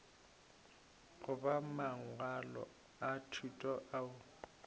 goba mangwalo a thuto ao